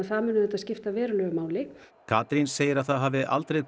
það mun auðvitað skipta verulegu máli Katrín segir að það hafi aldrei